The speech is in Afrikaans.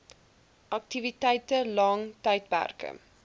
aktiwiteite lang tydperke